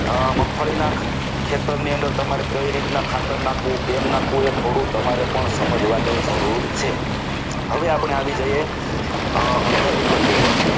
મગફળીના ક્ષેત્રની અંદર તમારી કઈ રીતના ખાતર નાખવો કેમ નાખવું એ થોડું તમારે પણ સમજવાની જરૂર છે હવે આપણે આવી જઈએ અન્ય વિકલ્પ ઉપર